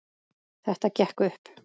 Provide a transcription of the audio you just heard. Þetta gekk upp.